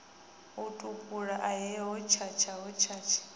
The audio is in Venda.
a tupule ahe hotshatsha hotshatsha